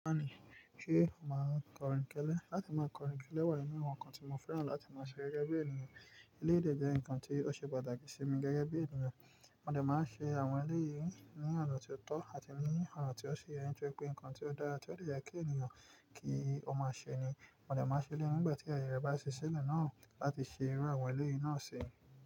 Ṣe máa n kọrin kẹlẹ? Láti máa kọrin kẹlẹ wà nínú àwọn nǹkan tí mo fẹ́ràn láti máa ṣe gẹ́gẹ́ bí ènìyàn. Eleyi dẹ́ jẹ́ ǹkan tí ó ṣe pàtàkì sí mi gẹ́gẹ́ bí ènìyàn. Mo dẹ máa ń ṣe àwọn eléèyí ní ọ̀nà ti o tọ́ àti ní ọ̀nà tí ó si yẹ, nitori pé ǹkan ti o dára tí ó dẹ yẹ kí ènìyàn kí ó máa ṣe ni. Mo dẹ máa ń ṣe éleyi nígbà tí àyè rẹ̀ bá ṣí sílẹ̀ náà láti ṣe irú àwọn eléèyí náà si.